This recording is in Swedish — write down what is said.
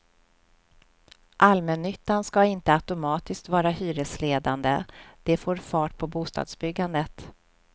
Allmännyttan ska inte automatiskt vara hyresledande, det får fart på bostadsbyggandet.